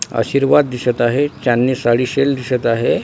आशीर्वाद दिसत आहे चांदणी साडी सेल दिसत आहे.